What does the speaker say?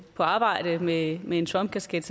på arbejde med med en trump kasket